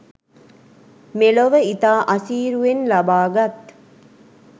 මෙලොව ඉතා අසීරුවෙන් ලබාගත්